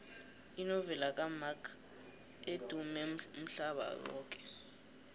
inovela kamark edumme umhlaba yoke